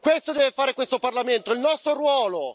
Questo deve fare questo Parlamento, è il nostro ruolo!